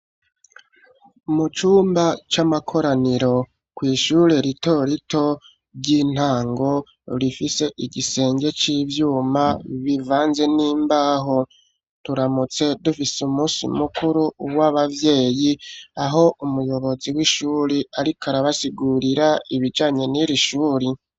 Mu cumba cy'amakoraniro ku ishure ritorito ry'intango rifise igisenge c'ivyuma bivanze n'imbaho turamutse dufise umunsi mukuru w'abavyeyi aho umuyobozi w'ishuri ariko arabasigurira ibijanye n'iri shuri.